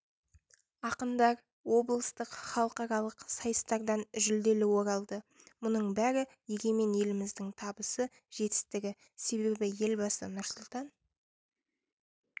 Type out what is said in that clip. ақындар облыстық халықаралық сайыстардан жүлделі оралды мұның бәрі егемен еліміздің табысы жетістігі себебі елбасы нұрсұлтан